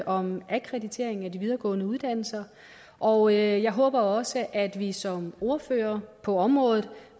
om akkreditering af de videregående uddannelser og jeg håber også at vi som ordførere på området